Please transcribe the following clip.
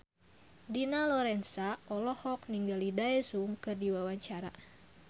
Dina Lorenza olohok ningali Daesung keur diwawancara